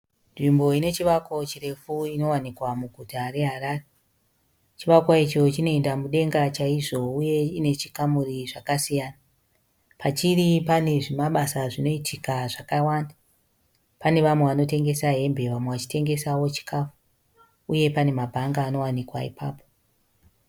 Nzvimbo ine chivako chirefu inowanikwa muguta reHarare. Chivakwa icho chinoenda mudenga chaizvo uye ine chikamuri zvakasiyana. Pachiri pane zvimabasa zvinoitika zvakawanda. Pane vamwe vanotengesa hembe vamwe vachitengesawo chikafu uye pane mabhanga anowanikwa ipapo.